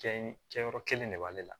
Kɛɲe kɛyɔrɔ kelen de b'ale la